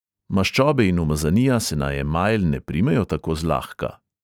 Maščobe in umazanija se na emajl ne primejo tako zlahka.